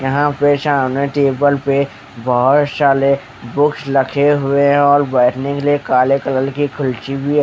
यहापर सामने टेबल पे बहुतसारे बुक्स रखे हुए है और बैठने के लिए काले कलर की खुर्ची भी है।